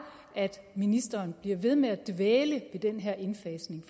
at ministeren bliver ved med at dvæle ved den her indfasning